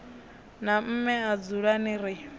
na mme a dzulani ri